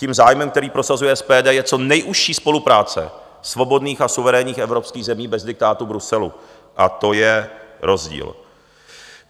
Tím zájmem, který prosazuje SPD, je co nejužší spolupráce svobodných a suverénních evropských zemí bez diktátu Bruselu a to je rozdíl.